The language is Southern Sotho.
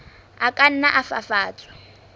a ka nna a fafatswa